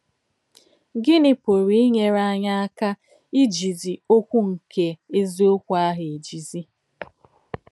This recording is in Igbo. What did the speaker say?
Gínị̀ pùrù ínyèrè ányị̀ àkà íjízí òkwù nke èzìọ̀kwú àhụ̀ èjízí?